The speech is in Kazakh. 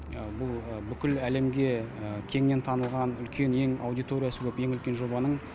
бұл бүкіл әлемге кеңінен танылған үлкен ең аудиториясы көп ең үлкен жобаның